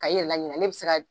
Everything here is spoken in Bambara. Ka i yɛlɛ laɲinɛ ale bi se ka